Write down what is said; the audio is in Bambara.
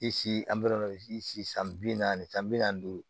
an bɛ si san bi naani san bi naani duuru